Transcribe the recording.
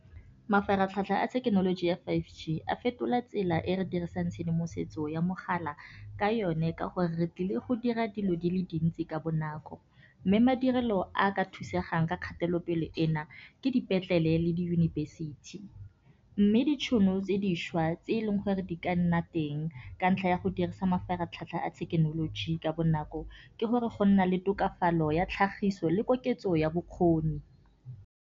Mafaratlhatlha a thekenoloji ya five G a fetola tsela e re dirisang tshedimosetso ya mogala ka yone, ka gore re tlile go dira dilo di le dintsi ka bonako. Mme madirelo a ka thusegang ka kgatelopele ena ke dipetlele le diyunibesithi. Mme ditšhono tse dišwa tse eleng gore di ka nna teng, ka ntlha ya go dirisa mafaratlhatlha a thekenoloji ka bonako, ke gore go nna le tokafalo ya tlhagiso le koketso ya bokgoni.